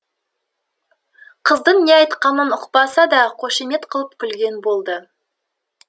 қыздың не айтқанын ұқпаса да қошемет қылып күлген болды